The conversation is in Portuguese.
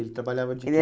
Ele trabalhava de? Ele